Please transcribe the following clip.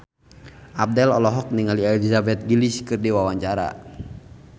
Abdel olohok ningali Elizabeth Gillies keur diwawancara